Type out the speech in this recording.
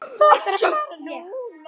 Þú ættir að fara núna.